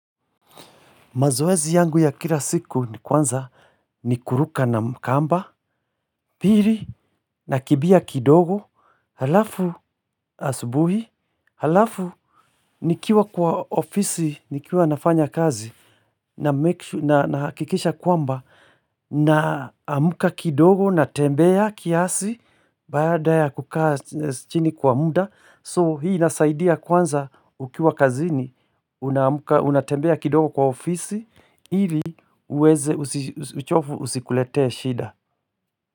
Mazoezi yangu ya kila siku ni kwanza ni kuruka na mkamba, pili nakibia kidogo, halafu asubuhi, halafu nikiwa kwa ofisi, nikiwa nafanya kazi nahakikisha kwamba na amka kidogo na tembea kiasi baada ya kukaa chini kwa muda. So hii nasaidia kwanza ukiwa kazini Unatembea kidogo kwa ofisi ili uweze uchofu usikuletee shida.